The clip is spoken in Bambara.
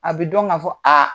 A bi dɔn ka fɔ